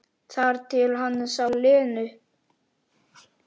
Þar til hann sá Lenu.